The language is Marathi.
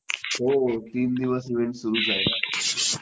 हो तीन दिवस इव्हेंट सुरूच आहे ना